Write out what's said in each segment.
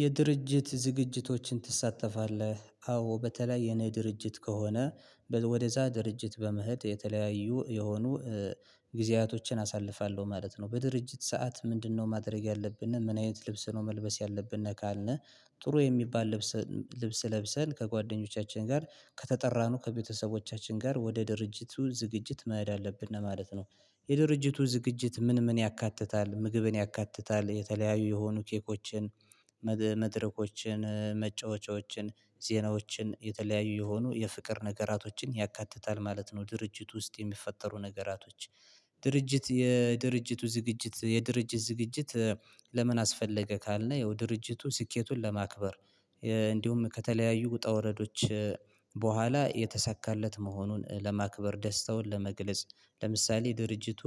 የድርጅት ዝግጅቶችን ትሳተፋለህ? አዎ በተለይ የኔ ድርጅት ከሆነ ወደዛ ድርጅት በመሄድ የተለያዩ የሆኑ ጊዜያቶችን አሳልፋለሁ ማለት ነው በድርጅት ሰዓት ምንድነው ማድረግ ያለብንን፤ ምን አይነት ልብስ ነው መልበስ ያለብንን? ካልን ጥሩ የሚባል ልብስ ልብስ ለብሰን ከጓደኞቻችን ጋር ከተጠራነው ከቤተሰቦቻችን ጋር ወደ ድርጅቱ ዝግጅት መሄድ አለብን ነው ማለት ነው። የድርጅቱ ዝግጅት ምን ምን ያካትታል ምግብን ያካትታል የተለያዩ የሆኑ ኬኮችን መድረኮችን መጫወቻዎችን ዜናዎችን የተለያዩ የሆኑ የፍቅር ነገራቶችን ያካትታል ማለት ነው። ድርጅት ውስጥ የሚፈጠሩ ነገራቶች ድርጅት የድርጅቱ ዝግጅት የድርጅት ዝግጅት ለምን አስፈለገ? ካልነው ያው ድርጅቱ ስኬቱን ለማክበር እንዲሁም ከተለያዩ ውጣ ውረዶች በኋላ የተሳካለት መሆኑን ለማክበር ደስታውን ለመግለጽ ለምሳሌ ድርጅቱ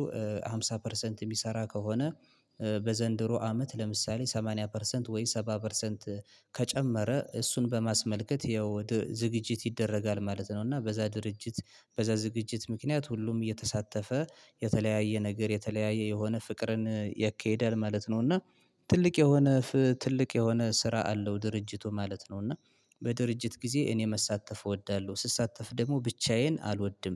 አምሳ ፐርሰንት የሚሰራ ከሆነ በዘንድሮ አመት ለምሳሌ ሰማኒያ ፐርሰንት ወይ ሰባ ፐርሰንት ከጨመረ እሱን በማስመልከት ያው ወደ ዝግጅት ይደረጋል ማለት ነው እና በዛ ድርጅት በዛ ዝግጅት ምክንያት ሁሉም የተሳተፈ የተለያየ ነገር የተለያየ የሆነ ፍቅርን ያካሂዳል ማለት ነው እና ትልቅ የሆነ ትልቅ የሆነ ስራ አለው ድርጅቱ ማለት ነው እና በድርጅት ጊዜ እኔ መሳተፍ እወዳለሁ ስሳተፍ ደግሞ ብቻዬን አልወድም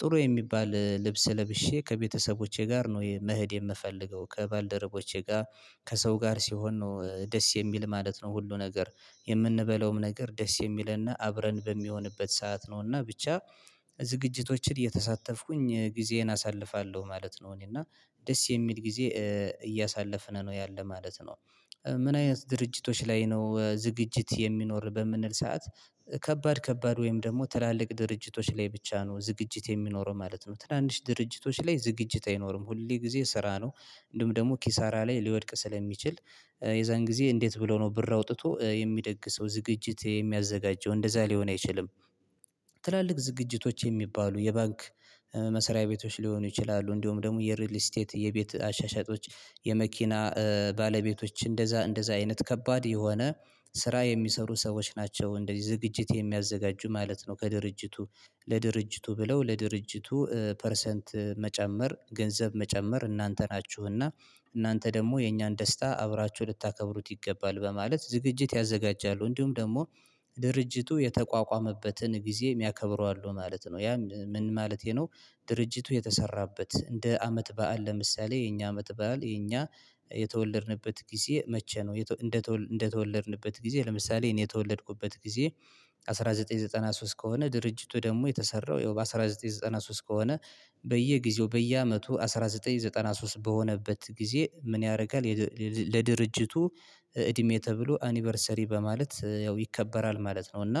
ጥሩ የሚባል ልብስ ለብሼ ከቤተሰቦቼ ጋር ነው መሄድ የምፈልገው ከባልደረቦቼ ጋር ከሰው ጋር ሲሆን ነው ደስ የሚል ማለት ነው ሁሉ ነገር የምንበላውም ነገር ደስ የሚልና አብረን በሚሆንበት ሰዓት ነውና ብቻ ዝግጅቶችን እየተሳተፍኩኝ ጊዜን አሳልፋለሁ ማለት ነው እኔ እና ደስ የሚል ጊዜ እያሳለፍን ነው ያለ ማለት ነው ''ምን አይነት ድርጅቶች ላይ ነው ዝግጅት የሚኖር?'' በምንል ሰዓት ከባድ ከባድ ወይም ደግሞ ትላልቅ ድርጅቶች ላይ ብቻ ነው ዝግጅት የሚኖረው ማለት ነው ትናንሽ ድርጅቶች ላይ ዝግጅት አይኖርም ሁሌ ጊዜ ስራ ነው እንደውም ደግሞ ኪሳራ ላይ ሊወድቅ ስለሚችል የዛን ጊዜ እንዴት ብለው ነው ብር አውጥቶ የሚደግ ሰው ዝግጅት የሚያዘጋጀው እንደዛ ሊሆን አይችልም ትላልቅ ዝግጅቶች የሚባሉ የባንክ መሰሪያ ቤቶች ሊሆኑ ይችላሉ እንደውም ደግሞ የሪል ስቴት የቤት አሻሻጮች የመኪና ባለቤቶች እንደዛ እንደዛ አይነት ከባድ የሆነ ስራ የሚሰሩ ሰዎች ናቸው እንደዚህ ዝግጅት የሚያዘጋጁ ማለት ነው ከድርጅቱ ለድርጅቱ ብለው ለድርጅቱ ፐርሰንት መጨመር ገንዘብ መጨመር እናንተ ናችሁና እናንተ ደግሞ የእኛን ደስታ አብራችሁ ልታከብሩት ይገባል በማለት ዝግጅት ያዘጋጃሉ እንዲሁም ደግሞ ድርጅቱ የተቋቋመበትን ጊዜ የሚያከብሩ አሉ ማለት ነው ያ ምን ማለት ይሄ ነው ድርጅቱ የተሰራበት እንደ አመት በዓል ለምሳሌ የኛ አመት በዓል የኛ የተወለድንበት ጊዜ መቼ ነው? እንደ እንደ ተወለድንበት ጊዜ ለምሳሌ እኔ የተወለድኩበት ጊዜ አስራ ዘጠኝ ዘጠና ሶስት ከሆነ ድርጅቱ ደግሞ የተሰራው ያው በአስራ ዘጠኝ ዘጠና ሶስት ከሆነ በየጊዜው በየአመቱ አንድ ሺህ ዘጠኝ መቶ ዘጠና ሶስት በሆነበት ጊዜ ምን ያረጋል ለድርጅቱ እድሜ ተብሎ አኒቨርሰሪ በማለት ያው ይከበራል ማለት ነው እና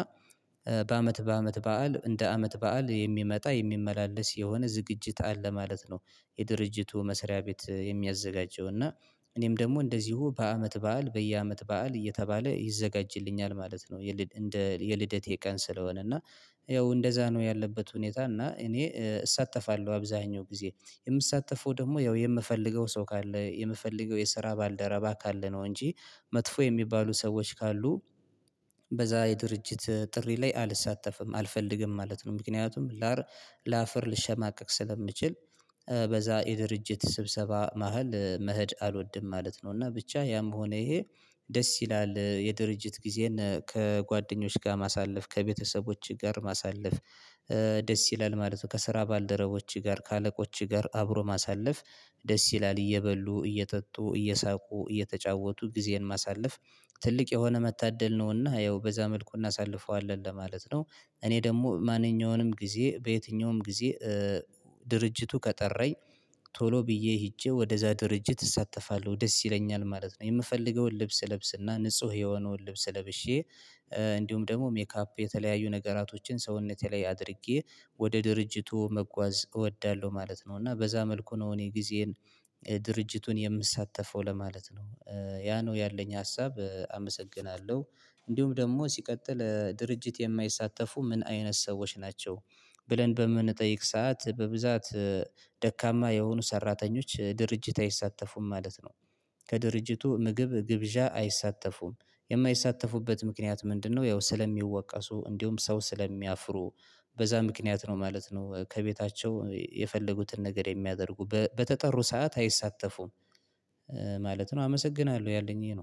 በአመት በአመት በዓል እንደ አመት በዓል የሚመጣ የሚመላለስ የሆነ ዝግጅት አለ ማለት ነው የድርጅቱ መስሪያ ቤት የሚያዘጋጀው እና እኔም ደግሞ እንደዚሁ በአመት በዓል በየአመት በዓል እየተባለ ይዘጋጅልኛል ማለት ነው እንደ የልደቴ ቀን ስለሆነ እና ያው እንደዛ ነው ያለበት ሁኔታ እና እኔ እሳተፋለሁ አብዛኛው ጊዜ የምሳተፈው ደግሞ ያው የምፈልገው ሰው ካለ የምፈልገው የስራ ባልደረባ ካለ ነው እንጂ መጥፎ የሚባሉ ሰዎች ካሉ በዛ የድርጅት ጥሪ ላይ አልሳተፍም፤ አልፈልግም ማለት ነው። ምክንያቱም ላፈር ልሸማቀቅ ስለምችል በዛ የድርጅት ስብሰባ መሃል መሄድ አልወድም ማለት ነው እና ብቻ ያም ሆነ ይሄ ደስ ይላል የድርጅት ጊዜን ከጓደኞች ጋር ማሳለፍ፣ ከቤተሰቦችህ ጋር ማሳለፍ ደስ ይላል ማለት ነው ከስራ ባልደረቦችህ ጋር፤ ከአለቆችህ ጋር አብሮ ማሳለፍ ደስ ይላል እየበሉ፤ እየተጠጡ፤ እየሳቁ፤ እየተጫወቱ ጊዜን ማሳለፍ ትልቅ የሆነ መታደል ነውና ያው በዛ መልኩ እናሳልፈዋለን ለማለት ነው እኔ ደግሞ ማንኛውንም ጊዜ በየትኛውም ጊዜ ድርጅቱ ከጠራኝ ቶሎ ብዬ ሄጄ ወደዛ ድርጅት እሳተፋለሁ ደስ ይለኛል ማለት ነው የምፈልገውን ልብስ እለብስና ንጹህ የሆነውን ልብስ ለብሼ እንዲሁም ደግሞ ሜካፕ የተለያዩ ነገራቶችን ሰውነቴ ላይ አድርጌ ወደ ድርጅቱ መጓዝ እወዳለሁ ማለት ነው እና በዛ መልኩ ነው እኔ ጊዜን ድርጅቱን የምሳተፈው ለማለት ነው ያ ነው ያለኝ ሀሳብ አመሰግናለሁ እንዲሁም ደግሞ ሲቀጥል ድርጅት የማይሳተፉ ምን አይነት ሰዎች ናቸው ብለን በምንጠይቅ ሰዓት በብዛት ደካማ የሆኑ ሰራተኞች ድርጅት አይሳተፉም ማለት ነው። ከድርጅቱ ምግብ ግብዣ አይሳተፉም፥ የማይሳተፉበት ምክንያት ምንድነው ያው? ስለሚወቀሱ እንዲሁም ሰው ስለሚያፍሩ በዛ ምክንያት ነው ማለት ነው ከቤታቸው የፈለጉትን ነገር የሚያደርጉ በተጠሩ ሰዓት አይሳተፉም። ማለት ነው አመሰግናለሁ ያለኝ ይሄ ነው።